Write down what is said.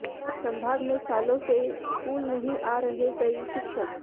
संभाग में सालों से स्कूल नहीं आ रहे कई शिक्षक